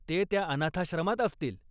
ते त्या अनाथाश्रमात असतील.